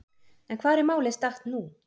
En hvar er málið statt nú?